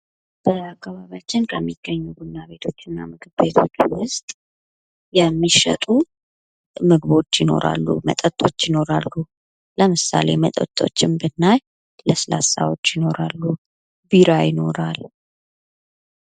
በአካባቢያችን ከሚገኙ ቡና ቤቶች እና ምግብ ቤቶች መካከል ዉስጥ የሚሸጡ ምግቦች ይኖራሉ መጠጦች ይኖራሉ። ለምሳሌ ከመጠጥጥ ብናይ ለስላሳ ይኖረናል። ቢራ ይኖራል።